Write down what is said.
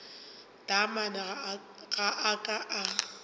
taamane ga a ka a